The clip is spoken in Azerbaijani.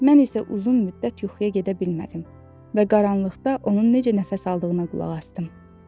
Mən isə uzun müddət yuxuya gedə bilmədim və qaranlıqda onun necə nəfəs aldığına qulaq asdım.